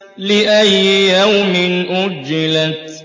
لِأَيِّ يَوْمٍ أُجِّلَتْ